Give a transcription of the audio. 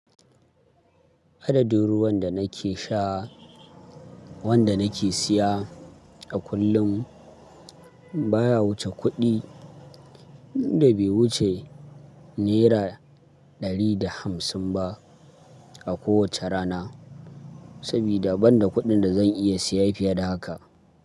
Adadin ruwan da nake sha wanda nake siya a kullum baya wuce kuɗi da bai wuce Naira ɗari da hamsin ba a kowace rana, sabida ban da kuɗin da zan iya siya fiye da haka.